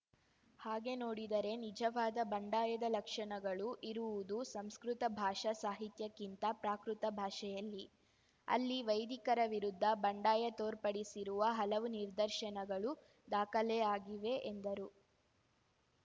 ಹಾಗೆ ನೋಡಿದರೆ ನಿಜವಾದ ಬಂಡಾಯದ ಲಕ್ಷಣಗಳು ಇರುವುದು ಸಂಸ್ಕೃತ ಭಾಷಾ ಸಾಹಿತ್ಯಕ್ಕಿಂತ ಪ್ರಾಕೃತ ಭಾಷೆಯಲ್ಲಿ ಅಲ್ಲಿ ವೈದಿಕರ ವಿರುದ್ಧ ಬಂಡಾಯ ತೋರ್ಪಡಿಸಿರುವ ಹಲವು ನಿದರ್ಶನಗಳು ದಾಖಲೆ ಆಗಿವೆ ಎಂದರು